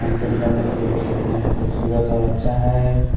अंशन करने के लिए जो देखने में खूबसूरत और अच्छा है।